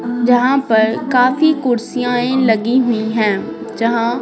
जहाँ पर काफी कुर्सियाँ लगी हुई हैंजहाँ--